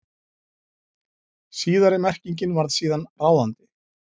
Síðari merkingin varð síðan ráðandi.